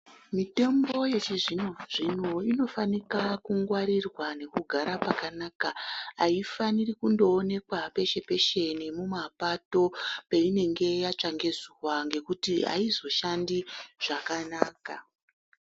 Mitombo yechizvino zvino inofanika kungwarirwa nekugara pakanaka , aifaniri kundoonekwa peshe peshe nemumapato peinenge yatsva ngezuwa aizoshandi zvakanaka.